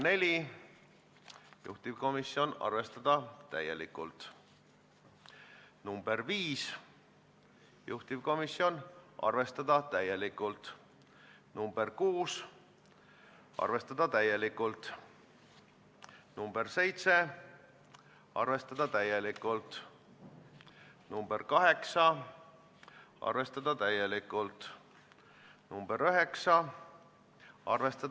Isegi kui Riigikogu liikmed on nõus, et seda teabe- ja broneerimissüsteemi ei pea määrusega kooskõlla viima, kuna on ette teada, et see nõue lõpeb peagi, peaks seda olema võimalik põhimõtteliselt arutada eraldi sisulistest probleemidest.